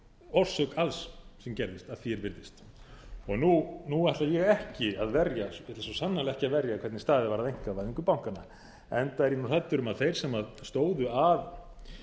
orsök alls sem gerðist að því er virðist nú ætla ég svo sannarlega ekki að verja hvernig staðið var að einkavæðingu bankanna enda er ég hræddur um að þeir sem stóðu að